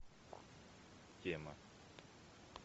тема